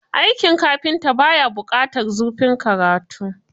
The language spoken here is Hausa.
Aikin kafinta ba ya buƙatar zurfin karatu.